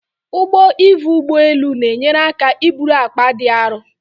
Ụgbọ ivu ụgbọ elu na-enyere aka iburu akpa dị aru